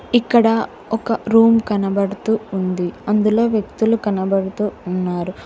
ఇక్కడ ఒక రూమ్ కనబడుతూ ఉంది అందులో వ్యక్తులు కనబడుతూ ఉన్నారు.